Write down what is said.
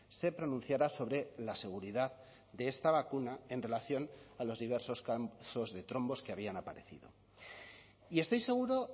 se pronunciara sobre la seguridad de esta vacuna en relación a los diversos casos de trombos que habían aparecido y estoy seguro